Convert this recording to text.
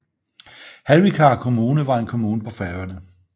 Hvalvíkar Kommune var en kommune på Færøerne